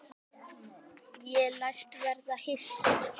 Ég læst verða hissa.